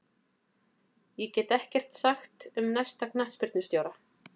Ég get ekkert sagt um næsta knattspyrnustjóra.